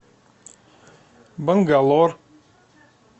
бангалор